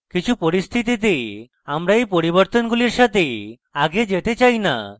কিছু পরিস্থিতিতে আমরা in পরিবর্তনগুলির সাথে আগে যেতে চাই in